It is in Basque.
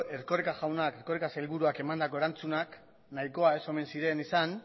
erkoreka sailburuak emandako erantzunak nahikoa ez omen ziren izan